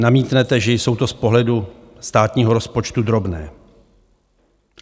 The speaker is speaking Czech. Namítnete, že jsou to z pohledu státního rozpočtu drobné.